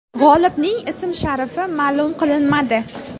G‘olibning ismi-sharifi ma’lum qilinmadi.